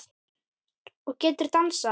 Og getur dansað.